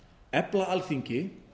efla alþingi